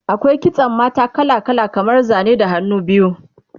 akwai kitsan mata kala kala kamar Zane da hannu biyu